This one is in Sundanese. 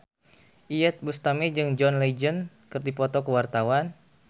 Iyeth Bustami jeung John Legend keur dipoto ku wartawan